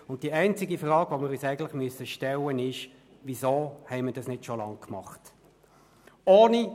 Wir müssen uns einzig die Frage stellen, weshalb wir diese nicht schon längst umgesetzt haben.